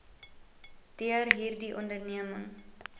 deur hierdie onderneming